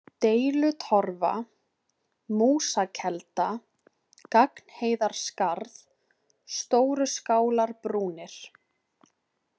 Deilutorfa, Músakelda, Gagnheiðarskarð, Stóruskálarbrúnir